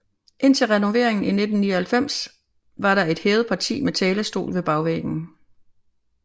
Indtil renoveringen i 1999 var der et hævet parti med talerstol ved bagvæggen